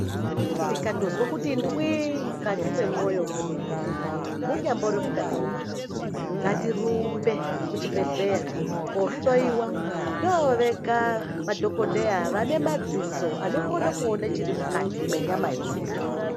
Tika ndozwe kuti ndwi mukati me mwoyo mwe mene mu nyambori mukati mwe makodo ngati rumbe ku chibhedhleya ko hloyiwa ndo vega madhokodheya vane madziso anokona kuone chiri mukati me nyama ye muntu.